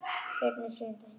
Svenni er í sjöunda himni.